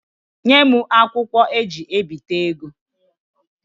Nye m akwụkwo eji ebita ego.